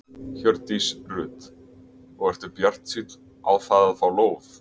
Hjördís Rut: Og ertu bjartsýnn á það að fá lóð?